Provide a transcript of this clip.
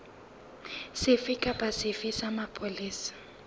sefe kapa sefe sa mapolesa